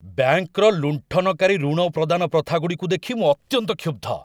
ବ୍ୟାଙ୍କର ଲୁଣ୍ଠନକାରୀ ଋଣ ପ୍ରଦାନ ପ୍ରଥାଗୁଡ଼ିକୁ ଦେଖି ମୁଁ ଅତ୍ୟନ୍ତ କ୍ଷୁବ୍ଧ।